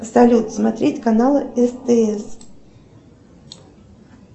салют смотреть каналы стс